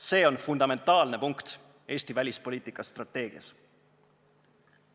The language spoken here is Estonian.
See on fundamentaalne punkt Eesti välispoliitika strateegias.